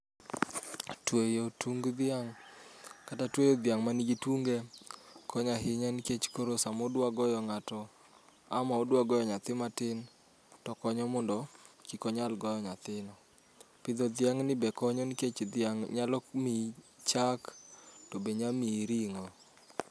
Tweyo tung dhiang' kata tweyo dhiang' man gi tunge konyo ahinya nikech koro sama odwaro goyo ng'ato, ama odwa goyo nyathi matin to konyo mondo kik onyal goyo nyathino. Pidho dhiang' ni be konyo nikech dhiang' nyalo miyi chak to be nyalo miyi ring'o